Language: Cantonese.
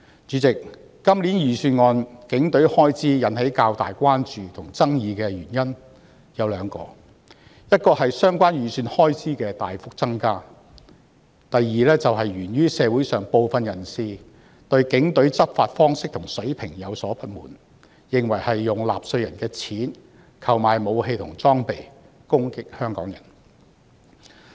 主席，今年的財政預算案中警隊開支引起較大關注和爭議的原因有兩個：第一是相關預算開支大幅增加，第二是源於部分社會人士對警隊的執法方式和水平有所不滿，認為是用納稅人的金錢購買武器和裝備來攻擊香港人。